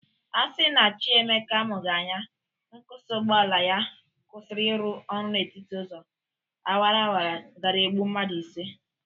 Asi na Chi Emeka amụghị anya, nkwụsị ụgbọala ya kwụsiri ịrụ ọrụ n'etiti ụzọ awarawara gara egbụ mmadụ ise.